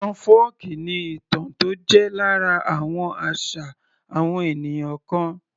Ìtàn fọ́ọ̀kí ni ìtàn tó jẹ́ lára àwọn àṣà àwọn ènìyàn kan